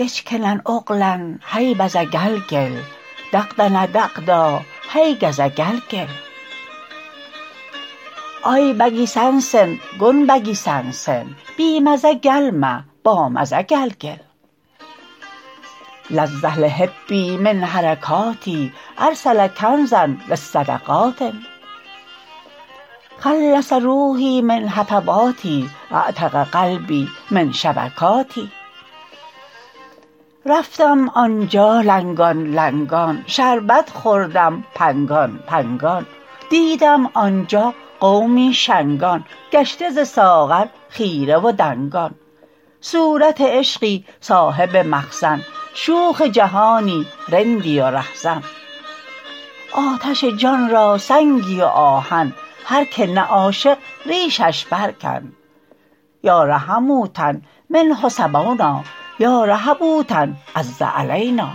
لجکنن اغلن هی بزه کلکل دغدن دغدا هی کزه کلکل آی بکی سنسن کن بکی سنسن بی مزه کلمه بامزه کلکل لذ لحبی من حرکاتی ارسل کنزا للصدقات خلص روحی من هفواتی اعتق قلبی من شبکاتی رفتم آن جا لنگان لنگان شربت خوردم پنگان پنگان دیدم آن جا قومی شنگان گشته ز ساغر خیره و دنگان صورت عشقی صاحب مخزن شوخ جهانی رندی و رهزن آتش جان را سنگی و آهن هر که نه عاشق ریشش برکن یا رحمونا منه صبونا یا رهبونا عز علینا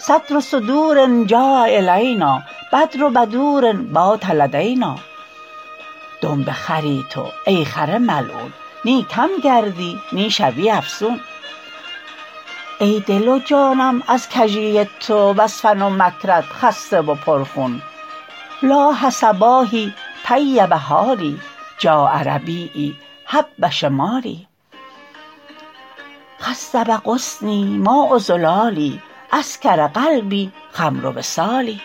صدر صدور جاء الینا بدر بدور بات لدینا دنب خری تو ای خر ملعون نی کم گردی نی شوی افزون ای دل و جانم از کژی تو وز فن و مکرت خسته و پرخون لاح صباحی طیب حالی جاء ربیعی هب شمالی خصب غصنی ماء زلالی اسکر قلبی خمر وصال